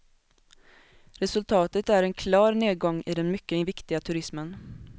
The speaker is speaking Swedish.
Resultatet är en klar nedgång i den mycket viktiga turismen.